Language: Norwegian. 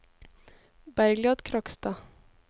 Bergliot Krogstad